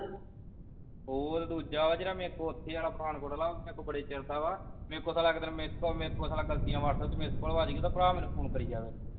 ਉਹ ਦੂਜਾ ਵਾ ਜਿਹੜਾ ਮੇਰੇ ਕੋਲ ਏਥੇ ਵਾਲਾ ਪਠਾਨਕੋਟ ਵਾਲਾ ਪੌੜੀ ਚੜ੍ਹ ਦਾਵਾਂ ਮੇਰੇ ਕੋਲੋਂ ਇੱਕ ਦਿਨ ਸਾਲਾ missed call ਮੇਰੇ ਕੋਲੋ ਗਲਤੀ ਨਾਲ whatsapp ਤੇ ਗਲਤੀ ਨਾਲ missed call ਵੱਜ ਗਈ ਤੇ ਉਹਦਾ ਭਰਾ ਮੈਨੂੰ phone ਕਰੀ ਜਾਵੇ